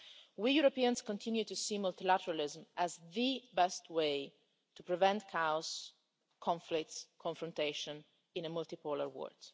We Europeans continue to see multilateralism as the best way to prevent chaos, conflicts and confrontation in a multi-polar world.